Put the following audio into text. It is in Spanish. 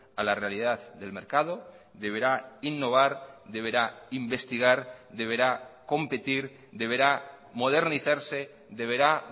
a la realidad del mercado deberá innovar deberá investigar deberá competir deberá modernizarse deberá